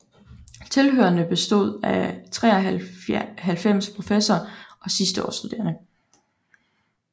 Tilhørerne bestod af 93 professorer og sidsteårsstuderende